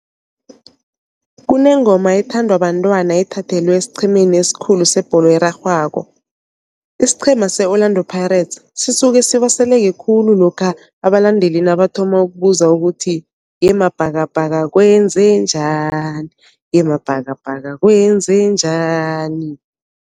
Kunengoma ethandwa bantwana ethathelwe esiqhemeni esikhulu sebholo erarhwako. Isiqhema se-Orlando Pirates sisuke sibaseleke khulu lokha abalandeli nabathoma ukubuza ukuthi yeMabhakabhaka kwenze njani, yeMabhakabhaka kwenze njani.